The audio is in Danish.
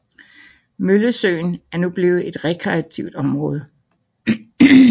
Møllesøen er nu blevet et rekreativt område